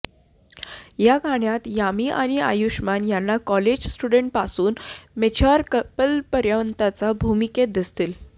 या गाण्यात यामी आणि आयुष्मान यांना कॉलेज स्टुडंटपासून मॅच्युअर कपलपर्यंतच्या भूमिकेत दिसतील